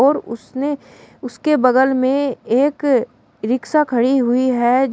और उसने उसके बगल में एक रिक्शा खड़ी हुई है।